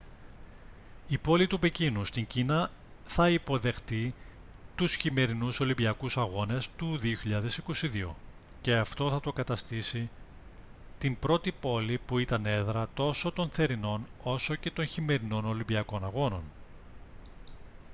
η πόλη του πεκίνου στην κίνα θα υποδεχτεί τους χειμερινούς ολυμπιακούς αγώνες του 2022 και αυτό θα το καταστήσει την πρώτη πόλη που ήταν έδρα τόσο των θερινών όσο και των χειμερινών ολυμπιακών αγώνων